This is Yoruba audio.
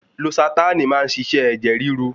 Losatánì má ń ṣiṣẹ́ ẹ̀jẹ̀ ríru.